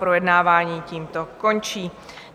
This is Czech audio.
Projednávání tímto končí.